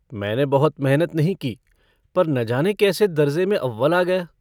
मैने बहुत मेहनत नहीं की पर न जाने कैसे दरजे में अव्वल आ गया।